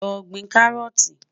Lọ́ gbìn kárọ́ọ̀tì.